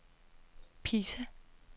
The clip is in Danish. Pisa